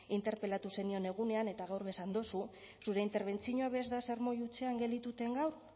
interpelatu zenion egunean eta gaur be esan duzu zure interbentzioa ez da sermoi hutsean geldituten gaur